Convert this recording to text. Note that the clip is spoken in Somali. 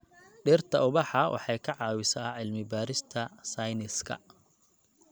Dhirta ubaxa waxay ka caawisaa cilmi-baarista sayniska.